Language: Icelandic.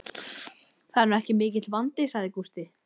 Það er nú ekki mikill vandi, sagði Gústi.